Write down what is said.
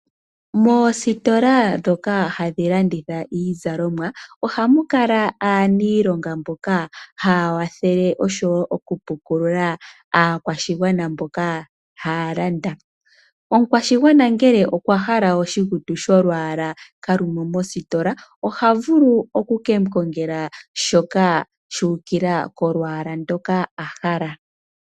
Moositola dhoka hadhi landitha iizalomwa ohamu kala aaniilonga mboka haya wathele osho wo oku pukulula aakwashigwana mboka haya landa. Omukwashigwana ngele okwa hala oshikutu sholwaala ka lumo mositola, oha vulu oku kemu kongela shoka shu ukila kolwaala ndoka a hala.